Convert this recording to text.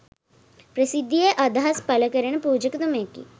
ප්‍රසිද්ධියේ අදහස් පළ කරන පුජකතුමෙකි